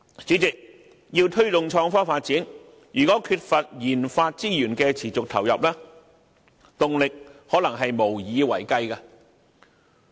主席，要推動創科發展，如果缺乏研發資源的持續投入，動力可能無以為繼。